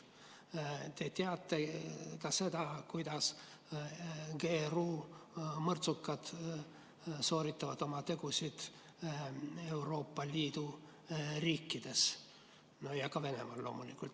Te teate ka seda, kuidas GRU mõrtsukad sooritavad oma tegusid Euroopa Liidu riikides ja ka Venemaal loomulikult.